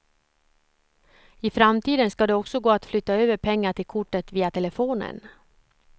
I framtiden ska det också gå att flytta över pengar till kortet via telefonen.